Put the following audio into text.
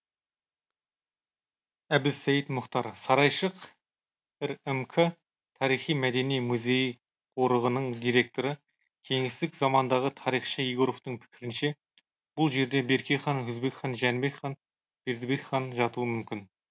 әбілсейіт мұхтар сарайшық рмк тарихи мәдени музей қорығының директоры кеңестік замандағы тарихшы егоровтың пікірінше бұл жерде берке хан өзбек хан жәнібек хан бердібек хан жатуы мүмкін